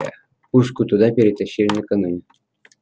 пушку туда перетащили накануне